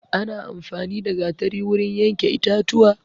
Ana amfani da gatari wurin yanke itatuwa